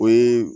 O ye